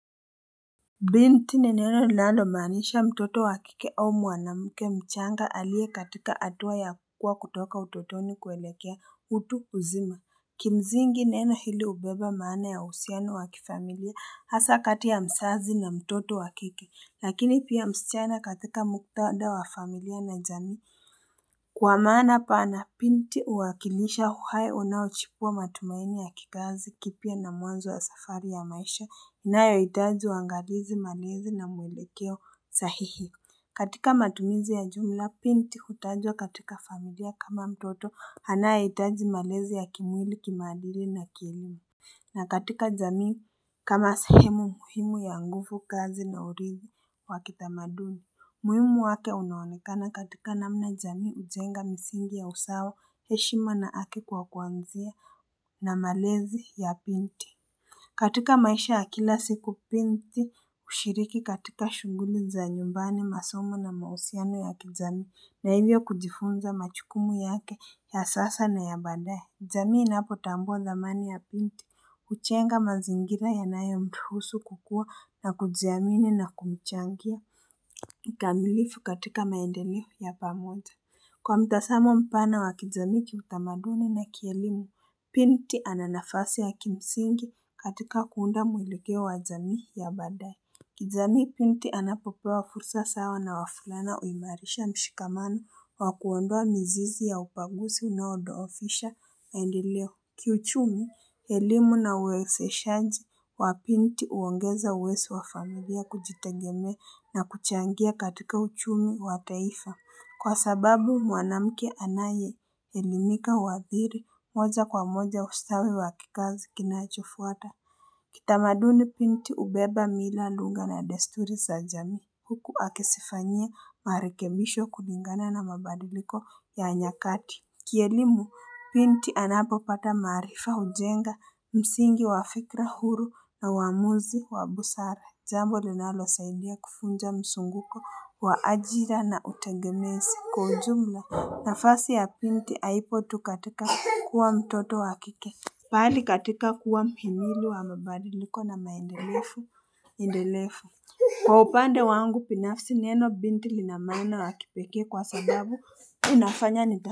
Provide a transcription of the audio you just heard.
Binti ni neno linalomaanisha mtoto wa kike au mwanamke mchanga aliye katika hatua ya kuwa kutoka utotoni kuelekea utu uzima. Kimsingi neno hili hubeba maana ya uhusiano wa kifamilia hasa kati ya mzazi na mtoto wa kike, lakini pia msichana katika muktadha wa familia na jamii. Kwa maana pana binti huwakilisha uhai unaochipua matumaini ya kizazi kipya na mwanzo wa safari ya maisha inayohitaji uangalizi malezi na mwelekeo sahihi. Katika matumizi ya jumla binti hutajwa katika familia kama mtoto anayehitaji malezi ya kimwili, kimaadili na kielimu. Na katika jamii kama sehemu muhimu ya nguvukazi na urithi wa kitamaduni. Umuhimu wake unaonekana katika namna jamii hujenga misingi ya usawa heshima na haki kwa kuanzia na malezi ya binti. Katika maisha ya kila siku binti hushiriki katika shughuli za nyumbani masomo na mahusiano ya kijamii na hivyo kujifunza majukumu yake ya sasa na ya baadaye. Jamii inapotambua thamani ya binti hujenga mazingira yanayomruhusu kukua na kujiamini na kumchangia kikamilifu katika maendeleo ya pamoja Kwa mtazamo mpana wa kijamii kiutamaduni na kielimu binti ana nafasi ya kimsingi katika kuunda mwelekeo wa jamii ya baadaye. Kijamii binti anapopewa fursa sawa na wavulana huimarisha mshikamano wa kuondoa mizizi ya ubaguzi unaodhoofisha maendeleo kiuchumi elimu na uwekezeshaji wa binti huongeza uwezo wa familia kujitegemea na kuchangia katika uchumi wa taifa. Kwa sababu mwanamke anayeelimika huathiri moja kwa moja ustawi wa kikazi kinachofuata. Kitamaduni binti hubeba mila lugha na desturi za jamii. Huku akizifanyia marekebisho kulingana na mabadiliko ya nyakati. Kielimu binti anapopata maarifa hujenga msingi wa fikra huru na uamuzi wa busara jambo linalosaidia kuvunja mzunguko wa ajira na utegemezi kwa ujumla nafasi ya binti haipo tu katika kuwa mtoto wa kike Bali katika kuwa mhimili wa mabadiliko na maendelevu endelevu. Kwa upande wangu binafsi neno binti lina maana ya kipekee kwa sababu inafanya ni.